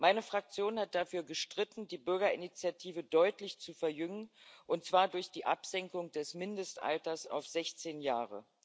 Meine Fraktion hat dafür gestritten, die Bürgerinitiative deutlich zu verjüngen, und zwar durch die Absenkung des Mindestalters auf 16 Jahre.